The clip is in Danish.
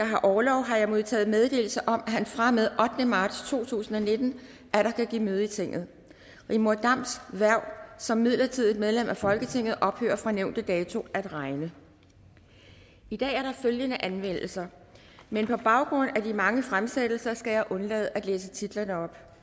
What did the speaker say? har orlov har jeg modtaget meddelelse om at han fra og med den ottende marts to tusind og nitten atter kan give møde i tinget rigmor dams hverv som midlertidigt medlem af folketinget ophører fra nævnte dato at regne i dag er der følgende anmeldelser men på baggrund af de mange fremsættelser skal jeg undlade at læse titlerne op